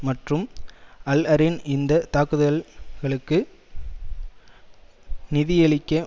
மற்றும் அல்அரியன் இந்த தாக்குதல்களுக்கு நிதியளிக்க